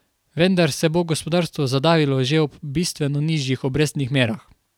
Vendar se bo gospodarstvo zadavilo že ob bistveno nižjih obrestnih merah.